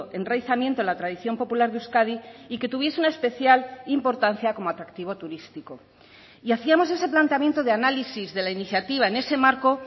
enraizamiento en la tradición popular de euskadi y que tuviese una especial importancia como atractivo turístico y hacíamos ese planteamiento de análisis de la iniciativa en ese marco